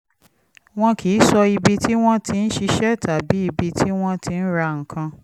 wọn kì í sọ ibi tí wọ́n ti ń ṣiṣẹ́ tàbí ibi tí wọ́n ti ń ra nǹkan